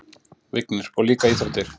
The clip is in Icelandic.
Vignir: Og líka íþróttir.